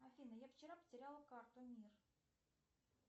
афина я вчера потеряла карту мир